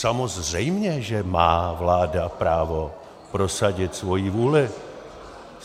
Samozřejmě, že má vláda právo prosadit svoji vůli.